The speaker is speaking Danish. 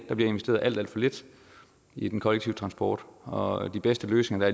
der bliver investeret alt alt for lidt i den kollektive transport og de bedste løsninger